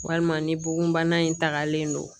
Walima ni bugunbana in tagalen don